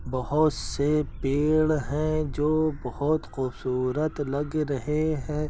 बहोत से पेड़ हैं जो बहोत खूबसूरत लग रहे हैं।